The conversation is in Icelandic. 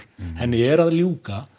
henni er að ljúka